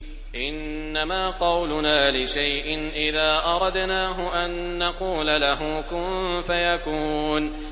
إِنَّمَا قَوْلُنَا لِشَيْءٍ إِذَا أَرَدْنَاهُ أَن نَّقُولَ لَهُ كُن فَيَكُونُ